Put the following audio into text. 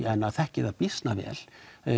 en að þekkja það býsna vel